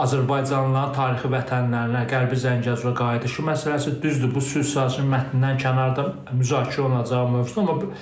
Azərbaycanlıların tarixi vətənlərinə Qərbi Zəngəzura qayıdışı məsələsi, düzdür, bu sülh sazişinin mətnindən kənarda müzakirə olunacaq mövzudur,